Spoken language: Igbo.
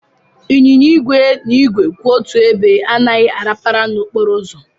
Ịnyịnya igwe na igwe kwụ otu ebe anaghị arapara n'okporo ụzọ.